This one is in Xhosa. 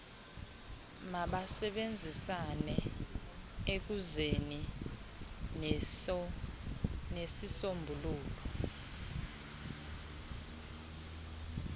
mabasebenzisane ekuzeni nesisombululo